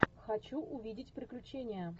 хочу увидеть приключения